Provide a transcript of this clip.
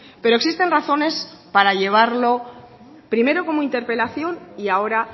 pero existen razones para llevarlo primero como interpelación y ahora